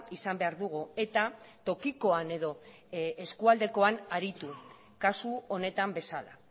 izan behar dugu eta tokikoan edo eskualdekoan aritu kasu honetan bezala